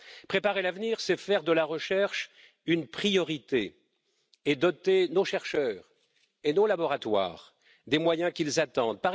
Préparer l'avenir, c'est faire de la recherche une priorité et doter nos chercheurs et nos laboratoires des moyens qu'ils attendent.